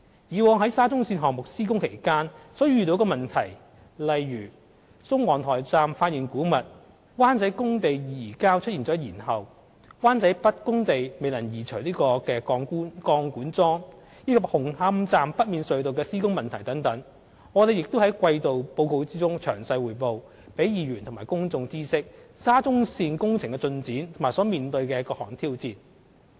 以往在沙中線項目施工期間所遇上的問題，例如宋皇臺站發現古物、灣仔工地移交出現延後、灣仔北工地未能移除鋼管樁，以及紅磡站北面隧道的施工問題等，我們亦在季度報告中詳細匯報，讓議員和公眾知悉沙中線工程的進展和所面對的各項挑戰。